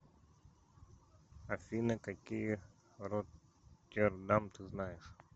афина какие роттердам ты знаешь